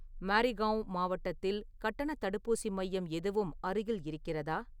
மாரிகாவ் மாவட்டத்தில் கட்டணத் தடுப்பூசி மையம் எதுவும் அருகில் இருக்கிறதா?